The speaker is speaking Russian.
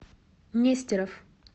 нестеров